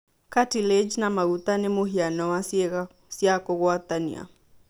Cartilage na maguta nĩ mũhiano wa ciĩga cia kũgwatania.